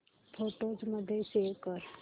photos मध्ये save कर